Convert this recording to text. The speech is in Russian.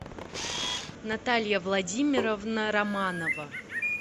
наталья владимировна романова